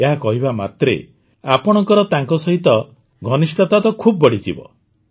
ଏହା କହିବା ମାତ୍ରେ ଆପଣଙ୍କର ତାଙ୍କ ସହିତ ଘନିଷ୍ଠତା ତ ଖୁବ ବଢ଼ିଯିବ